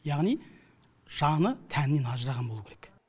яғни жаны тәнінен ажыраған болуы керек